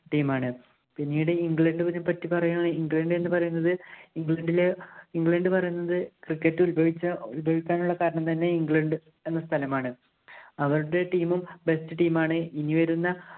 team ആണ്. പിന്നീടു ഇംഗ്ലണ്ടിനെ പറ്റി പറയുകയാണെ~ഇംഗ്ലണ്ട് എന്ന് പറയുന്നത് ഇംഗ്ലണ്ടിലെ~ഇംഗ്ലണ്ട് പറയുന്നത് cricket ഉത്ഭവിച്ച~ഉത്ഭവിക്കാനുള്ള കാരണം തന്നെ ഇംഗ്ലണ്ട് എന്ന സ്ഥലമാണ്‌. അവരുടെ team ഉം best team ആണ്. ഇനി വരുന്ന